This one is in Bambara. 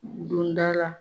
Don da la